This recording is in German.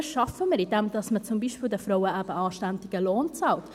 Das schaffen wir, indem man den Frauen zum Beispiel eben einen anständigen Lohn zahlt.